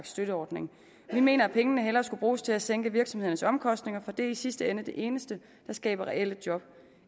støtteordning vi mener at pengene hellere skulle bruges til at sænke virksomhedernes omkostninger for det er i sidste ende det eneste der skaber reelle job